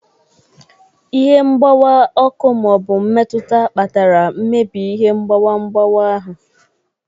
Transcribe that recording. Ihe mgbawa, ọkụ ma ọ bụ mmetụta kpatara mmebi ihe mgbawa mgbawa ahụ.